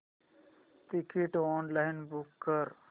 ticket online book कर